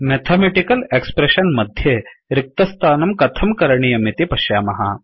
mathematical expression मध्ये रिक्तस्थानं कथं करणीयं इति पश्यामः